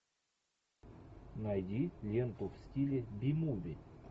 найди ленту в стиле би муви